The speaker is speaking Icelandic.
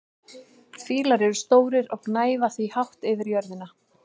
fílar eru stórir og gnæfa því hátt yfir jörðina